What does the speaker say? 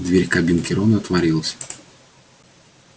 дверь кабинки рона отворилась